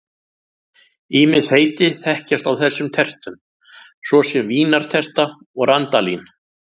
Ýmis heiti þekkjast á þessum tertum, svo sem vínarterta og randalín.